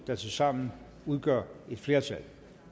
der tilsammen udgør et flertal